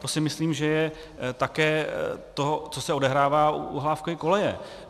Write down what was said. To si myslím, že je také to, co se odehrává u Hlávkovy koleje.